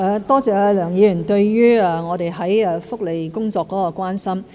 多謝梁議員對於我們福利工作方面的關心。